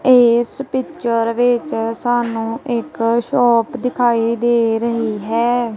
ਇੱਸ ਪਿਕਚਰ ਵਿੱਚ ਸਾਨੂੰ ਇੱਕ ਸ਼ੌਪ ਦਿਖਾਈ ਦੇ ਰਹੀ ਹੈ।